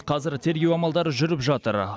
қазір тергеу амалдары жүріп жатыр